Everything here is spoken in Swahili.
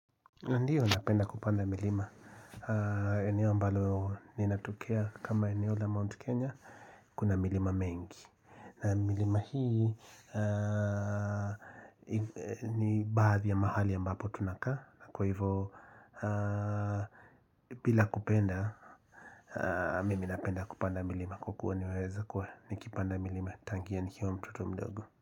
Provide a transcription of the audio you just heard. Ndio napenda kupanda milima. Eneo ambalo ninatokea kama eneo la Mount Kenya kuna milima mingi. Na milima hii ni baadhi ya mahali ya ambapo tunaka. Na kwa hivyo bila kupenda, mimi napenda kupanda milima kwa kua niweza kuwa nikipanda milima. Tangia nikiwa mtoto mdogo.